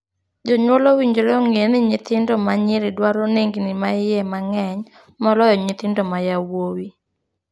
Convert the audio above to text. Jonjuol owinjore ong'ee ni nyithindo ma nyiri dwaro nengni ma iye mang'eny moloyo nyithindo ma yawuowi.